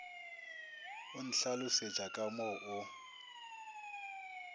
o ntlhalošetša ka mo o